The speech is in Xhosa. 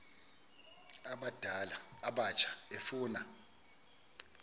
abadala abatsha efuna